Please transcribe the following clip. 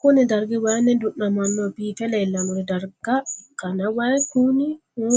Kuni dargi wayini dunamano bife leelanori darga ikana wayi Kuni o